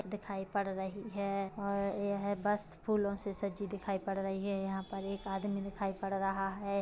दिखाई पड़ रही है और यह बस फूलों से सजी दिखाई पड़ रही है यहाँ पर एक आदमी दिखाई पड़ रहा है।